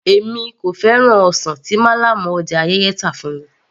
Èmi kò fẹ́ràn ọsàn tí málàmù ọjà Ayẹ́yẹ́ tà fún mi